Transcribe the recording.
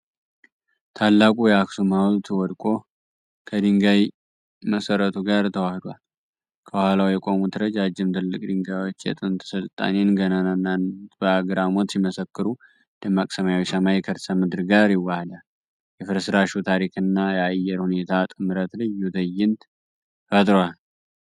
ታላቁ የአክሱም ሐውልት ወድቆ፣ ከድንጋይ መሰረቱ ጋር ተዋህዷል። ከኋላው የቆሙት ረጃጅም ትክል ድንጋዮች የጥንት ሥልጣኔን ገናናነት በአግራሞት ሲመሰክሩ፣ ደማቅ ሰማያዊ ሰማይ ከርሰ-ምድር ጋር ይዋሐዳል። የፍርስራሹ ታሪክና የአየር ሁኔታ ጥምረት ልዩ ትዕይንት ፈጥሯል።